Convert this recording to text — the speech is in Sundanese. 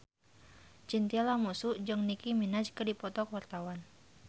Chintya Lamusu jeung Nicky Minaj keur dipoto ku wartawan